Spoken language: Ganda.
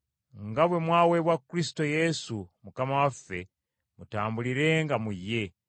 Nga bwe mwaweebwa Kristo Yesu Mukama waffe, mutambulirenga mu ye,